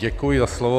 Děkuji za slovo.